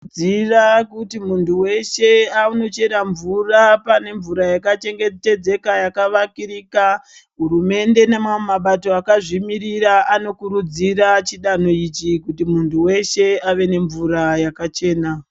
Tinokuridziira kuti muntu weshe anochera mvura pane mvura yakachengetedzeka yakavakirika hurumende nemamwe mabato akazvimirira anokurudzira chidanho ichi kuti munhu wese ave nemvura yakachena.